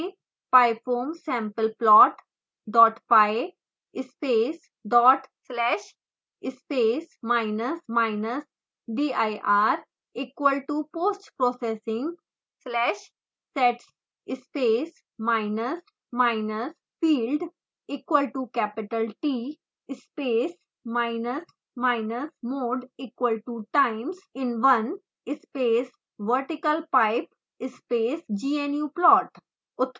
फिर टाइप करें: pyfoamsampleplotpy space dot slash space minus minus dir equal to postprocessing/sets space minus minus field equal to capital t space minus minus mode equal to timesinone space vertical pipe space gnuplot